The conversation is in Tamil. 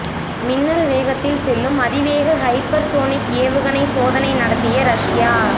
மின்னல் வேகத்தில் செல்லும் அதிவேக ஹைப்பர் சோனிக் ஏவுகணை சோதனை நடத்திய ரஷ்யா